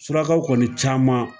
Surakakaw kɔni caman